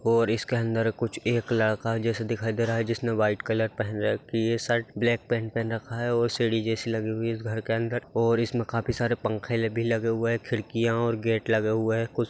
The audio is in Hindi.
और इसके अंदर कुछ एक लड़का जैसे दिखाई दे रहा है जिसने व्हाइट कलर पहन रखी है शर्ट ब्लैक पैन्ट पहन रखा है और सीढ़ी जैसी लगी हुई है इस घर के अंदर और इसमें काफी सारे पंखे भी लगे हुए हैं खिड़कियाँ और गेट लगे हुए हैं कुछ।